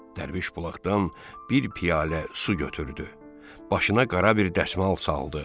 Dərviş bulaqdan bir piyalə su götürdü, başına qara bir dəsmal saldı.